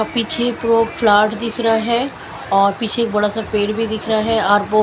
और पीछे दो प्लाट दिख रहा है और पीछे एक बड़ा सा पेड़ भी दिख रहा है और वो --